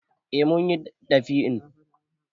Eh mun yi ɗab'in.